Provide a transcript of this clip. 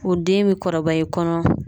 O den bi kɔrɔbaya i kɔnɔ